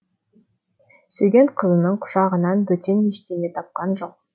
сүйген қызының құшағынан бөтен ештеңе тапқан жоқ